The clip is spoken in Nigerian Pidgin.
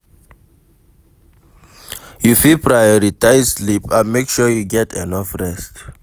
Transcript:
You fit prioritize sleep and make sure you get enough rest.